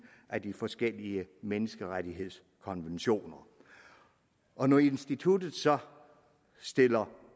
af de forskellige menneskerettighedskonventioner og når instituttet så stiller